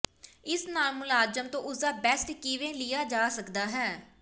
ਇਸ ਨਾਲ ਮੁਲਾਜ਼ਮ ਤੋਂ ਉਸਦਾ ਬੈਸਟ ਕਿਵੇਂ ਲਿਆ ਜਾ ਸਕਦਾ ਹੈ